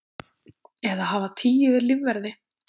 Eða hafa tíu lífverði?